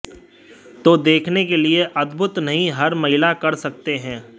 तो देखने के लिए अद्भुत नहीं हर महिला कर सकते हैं